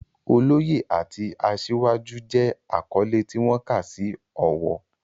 Oloye" àti "Asiwaju" jẹ́ àkọ́lé tí wọ́n kà sí ọ̀wọ̀.